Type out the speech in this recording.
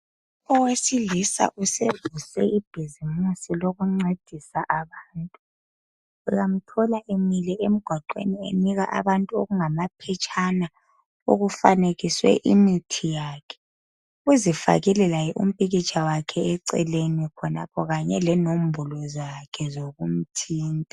Owesilisa usevuse ibhuzimusi lokuncedisa abantu uyamthola emile engwaqwen enika abantu okungamaphetshana okufanekiswe imithi yakhe uzifakile laye impikitsha yakhe eceleni kanye lenombolo zabo zokumthinta